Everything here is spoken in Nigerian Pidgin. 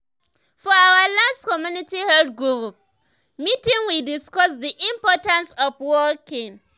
for our last community health group meeting we discuss the importance of walking.